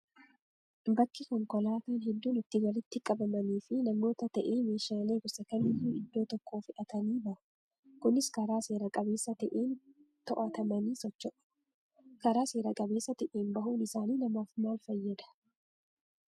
Bakki konkolaataan hedduun itti walitti qabamanii fi namoota ta'ee meeshaalee gosa kamiyyuu iddoo tokkoo fe'atanii bahu. Kunis karaa seera qabeessa ta'een to'atamanii socho'u. Karaa seera qabeessa ta'een bahuun isaanii namaaf maal fayyada?